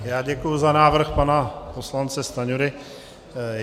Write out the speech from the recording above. Já děkuju za návrh pana poslance Stanjury.